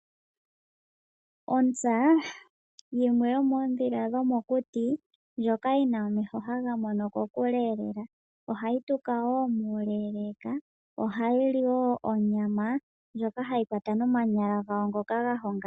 Ontsa yimwe yomoondhila dhomokuti, ndhoka yina omeho haga mono kokule lela. Ohayi tuka woo muleeleeka , ohayi li onyama ndjoka hayi kwata nomakaha ngoka gahonga.